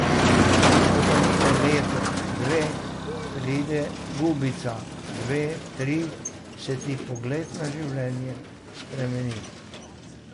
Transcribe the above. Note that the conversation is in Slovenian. Ko pa mine leto, dve, pride gubica, dve, tri, se ti pogled na življenje spremeni.